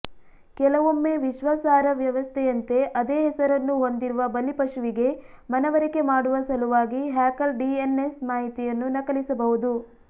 ಕೆಲವೊಮ್ಮೆ ವಿಶ್ವಾಸಾರ್ಹ ವ್ಯವಸ್ಥೆಯಂತೆ ಅದೇ ಹೆಸರನ್ನು ಹೊಂದಿರುವ ಬಲಿಪಶುವಿಗೆ ಮನವರಿಕೆ ಮಾಡುವ ಸಲುವಾಗಿ ಹ್ಯಾಕರ್ ಡಿಎನ್ಎಸ್ ಮಾಹಿತಿಯನ್ನು ನಕಲಿಸಬಹುದು